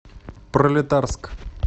пролетарск